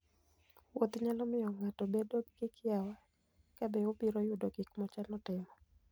Wuoth nyalo miyo ng'ato obed gi kiawa kabe obiro yudo gik mochano timo.